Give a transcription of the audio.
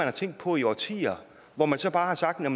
har tænkt på i årtier hvor man så bare har sagt at